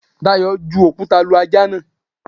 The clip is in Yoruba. Dayọ̀ ju òkúta lu ajá náà.